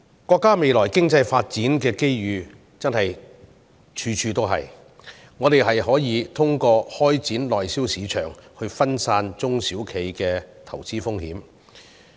國家未來的經濟發展機遇處處，我們可以通過開展內銷市場，分散中小企的投資風險。